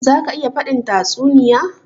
Za ka iya faɗin tatsuniya?